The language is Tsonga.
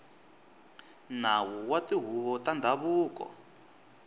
nawu wa tihuvo ta ndhavuko